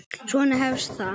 Svona hefst það